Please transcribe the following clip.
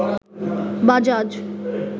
Bajaj